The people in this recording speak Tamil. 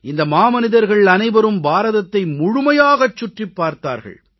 இந்த மாமனிதர்கள் அனைவரும் பாரதத்தை முழுமையாகச் சுற்றிப் பார்த்தார்கள்